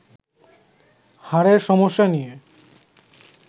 হাড়ের সমস্যা নিয়ে